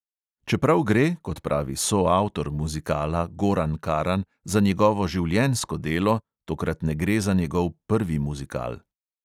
Čeprav gre, kot pravi soavtor muzikala goran karan, za njegovo življenjsko delo, tokrat ne gre za njegov prvi muzikal.